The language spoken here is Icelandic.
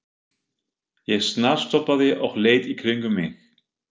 Ég snarstoppaði og leit í kringum mig.